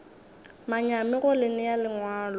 manyami go le nea lengwalo